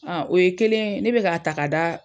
o ye kelen ye ne be k'a ta k'a da